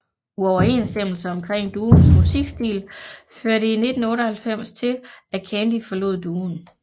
Uoverensstemmelser omkring duoens musikstil førte i 1998 til at Candy forlod duoen